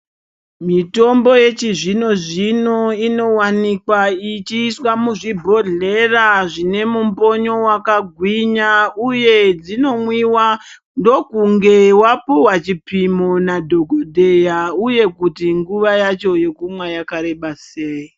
Mitombo yechizvino-zvino inovanokwa ichiiswa muzvibhodhlera zvine mumbonyo vakagwinya, uye dzinomwiva ndokunge vapihwa chipimo nadhogodheya, uye kuti nguva yacho yekumwa yakareba sei.